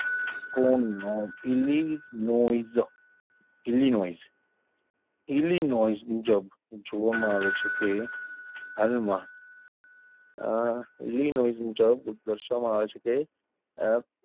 કો નો Illinois Illinois Illinois મુજબ જોવામાં આવે છે કે હાલમાં અ અ ઇલિનોઇઝ મુજબ દર્શાવવામાં આવે છે કે અ,